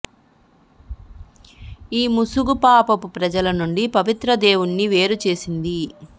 ఈ ముసుగు పాపపు ప్రజల నుండి పవిత్ర దేవున్ని వేరు చేసింది